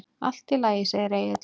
Allt í lagi, segir Egill.